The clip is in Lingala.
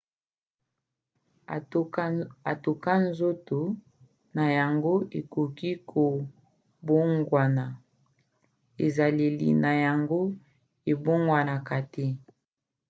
atako nzoto na yango ekoki kobongwana ezaleli na yango ebongwanaka te